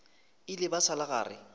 ile ba sa le gare